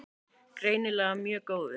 Greinilega mjög góðum.